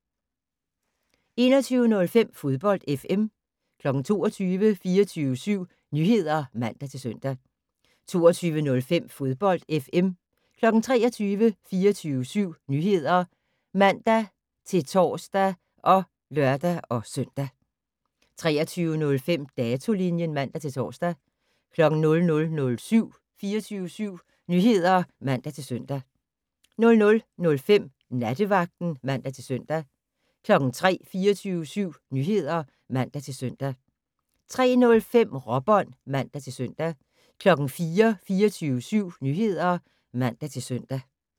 21:05: Fodbold FM 22:00: 24syv Nyheder (man-søn) 22:05: Fodbold FM 23:00: 24syv Nyheder (man-tor og lør-søn) 23:05: Datolinjen (man-tor) 00:00: 24syv Nyheder (man-søn) 00:05: Nattevagten (man-søn) 03:00: 24syv Nyheder (man-søn) 03:05: Råbånd (man-søn) 04:00: 24syv Nyheder (man-søn)